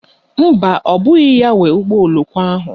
Mba, ọ bụghị ya nwe ụgbọoloko ahụ